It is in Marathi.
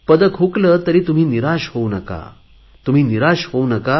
पदक हुकले तरी तुम्ही निराश होऊ नका